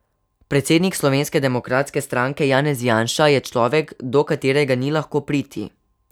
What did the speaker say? Predsednik Slovenske demokratske stranke Janez Janša je človek, do katerega ni lahko priti.